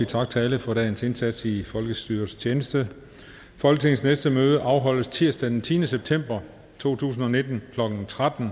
tak til alle for dagens indsats i folkestyrets tjeneste folketingets næste møde afholdes tirsdag den tiende september to tusind og nitten klokken tretten